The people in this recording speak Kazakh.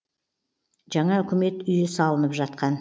жаңа үкімет үйі салынып жатқан